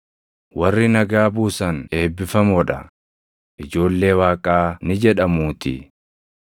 Warri nagaa buusan eebbifamoo dha; ijoollee Waaqaa ni jedhamuutii.